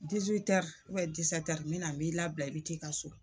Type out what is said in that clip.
n mɛ na m'i labila i bi t'i ka so.